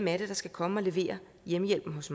er der skal komme og levere hjemmehjælpen hos